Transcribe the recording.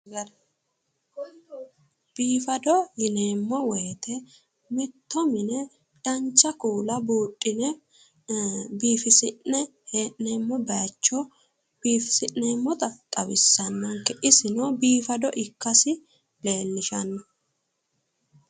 Biifado yineemmo woyite, mitto mine dancha kuula buudhine biifisi'ne hee'noommo baayicho biifisi'neemmota xawissannonke isino biifado ikkasi leellishanno.